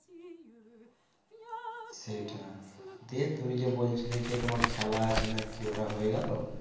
সেটা দিয়ে তুমি যে বলছিলে যে তোমার খেলা আছে না কি ওটা হয়ে গেলো